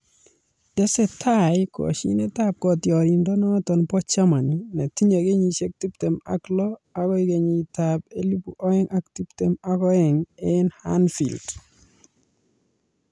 Tesetai koshinetab kotioriendenoto bo Germany netinyei kenyisiek tiptem ak lo agoi kenyitab elebu oeng ak tiptem ak oeng eng Anfield.